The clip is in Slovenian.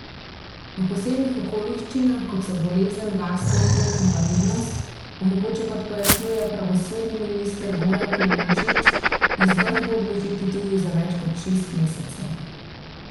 V posebnih okoliščinah, kot so bolezen, varstvo otrok, invalidnost, bo mogoče, kot pojasnjuje pravosodni minister Goran Klemenčič, izvršbo odložiti tudi za več kot šest mesecev.